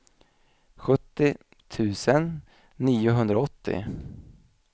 sjuttio tusen niohundraåttio